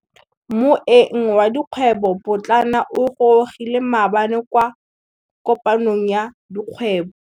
Moêng wa dikgwêbô pôtlana o gorogile maabane kwa kopanong ya dikgwêbô.